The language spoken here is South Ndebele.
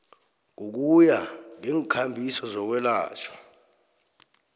ngokuya ngeenkambiso zokwelatjhwa